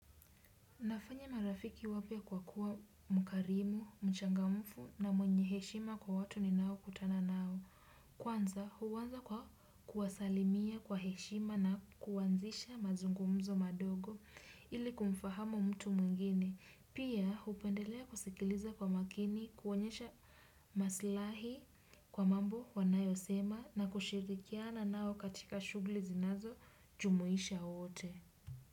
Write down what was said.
Nafanya marafiki wapya kwa kuwa mkarimu, mchangamfu na mwenye heshima kwa watu ni nao kutana nao. Kwanza huanza kwa kuwasalimia kwa heshima na kuanzisha mazungumzo madogo ili kumfahamu mtu mwingine. Pia hupendelea kusikiliza kwa makini, kuonyesha maslahi kwa mambo wanayosema na kushirikiana nao katika shughuli zinazo jumuisha wote.